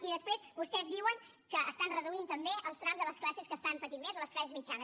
i després vostès diuen que estan reduint també els trams a les classes que estan patint més o a les classes mitjanes